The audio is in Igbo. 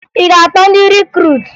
Ị ga-akpọ ndị rikruutu?